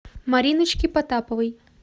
мариночки потаповой